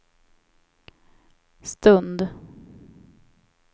stund